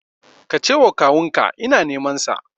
Ka ce wa kawun ka ina neman sa